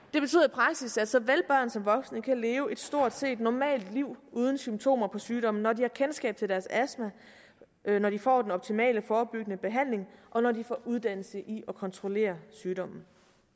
praksis at såvel børn som voksne kan leve et stort set normalt liv uden symptomer på sygdommen når de har kendskab til deres astma når de får den optimale forebyggende behandling og når de får uddannelse i at kontrollere sygdommen